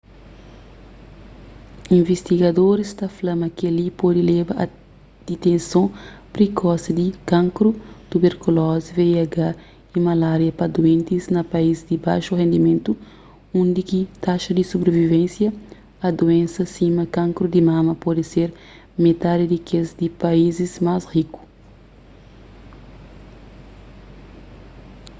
invistigadoris ta fla ma kel-li pode leba a diteson prikosi di kankru tuberkulozi vih y malária pa duentis na país di baxu rendimentu undi ki taxa di subrivivénsia a duénsa sima kankru di mama pode ser metadi di kes di paízis más riku